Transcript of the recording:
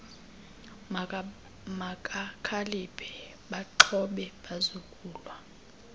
mabakhaliphe baaxhobe bazokulwa